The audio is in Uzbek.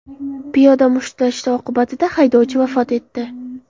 Piyoda mushtlashi oqibatida haydovchi vafot etdi.